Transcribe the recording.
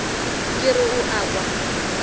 ke re o a kwa